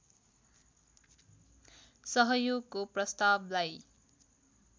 सहयोगको प्रस्तावलाई